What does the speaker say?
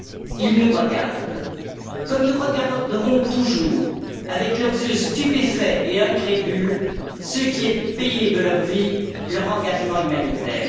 Ils nous regardent comme nous regarderont toujours, avec leurs yeux stupéfaits et incrédules, ceux qui ont payé de leur vie leur engagement humanitaire.